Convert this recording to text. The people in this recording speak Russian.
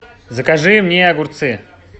закажи мне огурцы